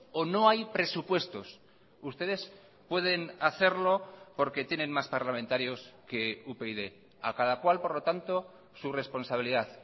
o no hay presupuestos ustedes pueden hacerlo porque tienen más parlamentarios que upyd a cada cual por lo tanto su responsabilidad